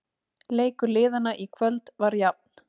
Leikur liðanna í kvöld var jafn